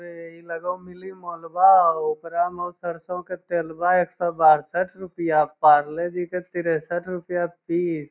ए इ लगो मिनी मॉलबा हो ऊपरा में हो सरसो के तेल बा एक सौ बासठ रूपया पारले जी के तीरसठ रूपया पीस ।